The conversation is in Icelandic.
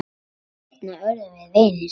Seinna urðum við vinir.